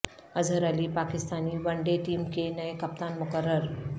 Azhar Ali Pakistani one day team کے نئے کپتان مقرر